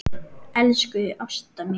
Elsku Ásta mín.